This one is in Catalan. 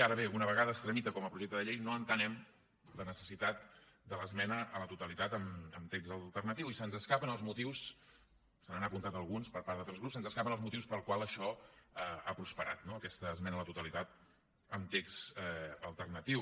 ara bé una vegada es tramita com a projecte de llei no entenem la necessitat de l’esmena a la totalitat amb text alternatiu i se’ns escapen els motius se n’han apuntat alguns per part d’altres grups pels quals això ha prosperat no aquesta esmena a la totalitat amb text alternatiu